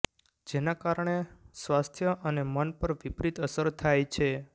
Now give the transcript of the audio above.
જેના કારણે સ્વાસ્થ્ય અને મન પર વિપરીત અસર થાય છે